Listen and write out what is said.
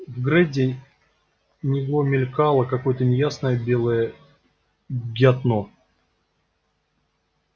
вггереди него мелькало какое то неясное белое ггятно